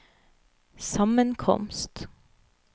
sammenkomst